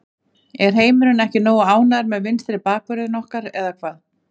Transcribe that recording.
Er heimurinn ekki nógu ánægður með vinstri bakvörðinn okkar eða hvað?